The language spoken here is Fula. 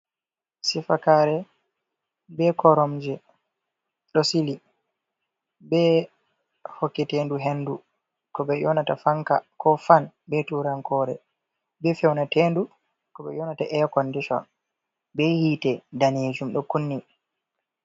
Sifakaare be koromje ɗo sili, be hokketendu hendu ko ɓe ƴoonata fanka, ko fan be turankore. Be fewnatendu, ko ɓe ƴoonata eya kondishon, be yite daneejum ɗo kunni.